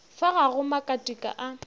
fa ga go makatika a